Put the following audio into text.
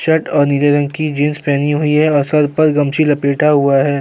Shirt और नीले रंग की जीन्स पहनी हुई है और सर पर गमछी लपेटा हुआ है।